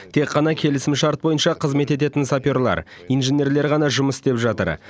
тек қана келісімшарт бойынша қызмет ететін саперлер инженерлер ғана жұмыс істеп жатыр